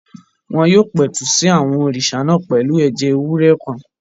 Wọ́n yóò pẹ̀tù sí àwọn òrìṣà náà pẹ̀lú ẹ̀jẹ̀ ewúrẹ́ kan